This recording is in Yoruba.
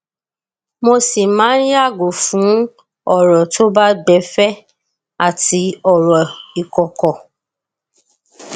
mo sì máa ń yàgò fún ọrọ tó bá gbẹ fẹ àti ọrọ ìkọkọ